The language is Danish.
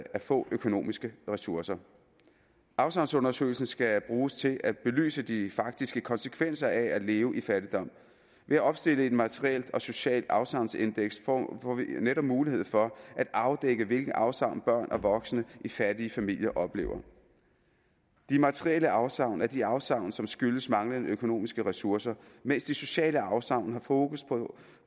få økonomiske ressourcer afsavnsundersøgelsen skal bruges til at belyse de faktiske konsekvenser af at leve i fattigdom ved at opstille et materielt og socialt afsavnsindeks får vi netop mulighed for at afdække hvilke afsavn børn og voksne i fattige familier oplever de materielle afsavn er de afsavn som skyldes manglende økonomiske ressourcer mens de sociale afsavn har fokus